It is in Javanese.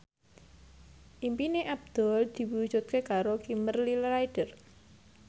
impine Abdul diwujudke karo Kimberly Ryder